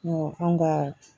Ɔ an ka